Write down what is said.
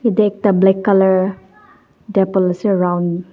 te ekta black colour table ase round .